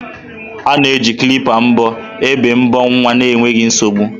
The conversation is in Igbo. A na-eji kilpa mbọ ébé mbọ nwa n'enweghị nsogbu.